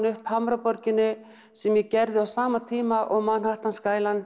upp Hamraborginni sem ég gerði á sama tíma og Manhattan